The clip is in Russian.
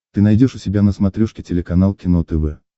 ты найдешь у себя на смотрешке телеканал кино тв